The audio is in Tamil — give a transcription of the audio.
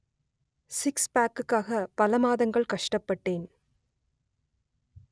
சிக்ஸ்பேக்குக்காக பல மாதங்கள் கஷ்டப்பட்டேன்